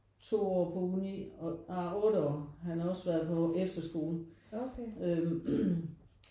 2 år på uni og nej 8 år han har også været på efterskolen øh